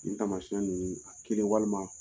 Nin tamasiɲɛn ninnu kelen , walima